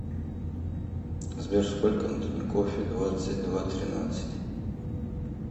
сбер сколько на тинькоффе двадцать два тринадцать